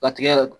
Ka tigɛ yɛrɛ